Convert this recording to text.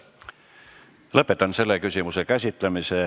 Lõpetan selle küsimuse käsitlemise.